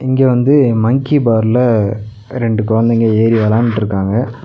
இங்க வந்து மங்கி பார்ல ரெண்டு கொழந்தைங்க ஏறி வெளாண்ட்ருக்காங்க.